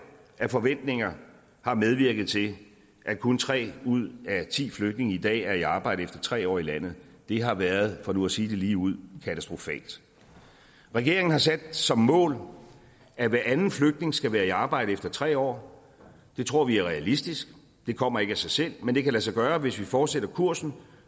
af forventninger har medvirket til at kun tre ud af ti flygtninge i dag er i arbejde efter tre år i landet det har været for nu at sige det ligeud katastrofalt regeringen har sat som mål at hver anden flygtning skal være i arbejde efter tre år det tror vi er realistisk det kommer ikke af sig selv men det kan lade sig gøre hvis vi fortsætter kursen